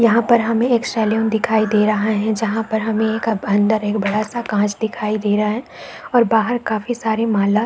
यहाँ पर हमे एक सैलून दिखाई दे रहा है जहाँ पर हमे एक अन्दर बड़ा सा कांच दिखाई दे रहा है और बाहर काफी सारी माला --